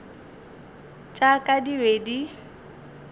tša ka di be di